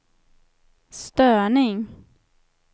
störning